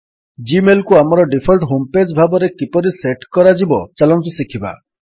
Gmail କୁ ଆମର default home page ଭାବରେ କିପରି ସେଟ୍ କରାଯିବ ଚାଲନ୍ତୁ ଶିଖିବା